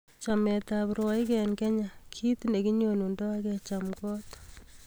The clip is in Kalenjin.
Chamet ap rwoik en kenya kit ne kinyonundo ak kencham kot